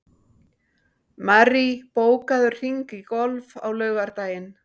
Marie, bókaðu hring í golf á laugardaginn.